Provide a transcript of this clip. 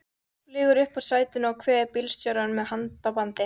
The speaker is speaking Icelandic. Flýgur upp úr sætinu og kveður bílstjórann með handabandi.